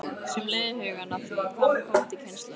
Sem leiðir hugann að því: Hvað með komandi kynslóðir?